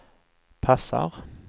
passar